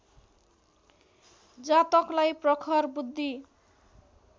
जातकलाई प्रखर बुद्धि